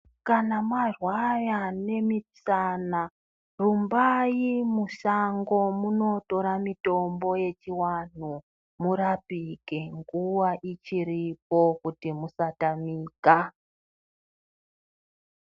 Kana marwaya nemisana rumbai musango munotora mitombo yechiwanhu murapike nguwa ichiripo kuti musatamika.